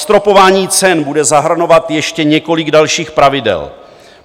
Zastropování cen bude zahrnovat ještě několik dalších pravidel.